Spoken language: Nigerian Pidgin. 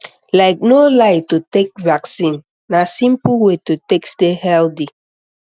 like no lie to take vaccine na simple way to take stay healthy